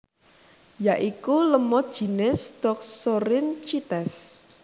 Ya iku lemud jinis Toxorynchites